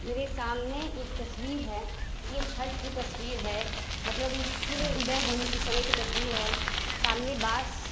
मेरे सामने एक तस्वीर है। ये छठ की तस्वीर है। मतलब ये सूर्य उदय होने की समय की तस्वीर है सामने बांस --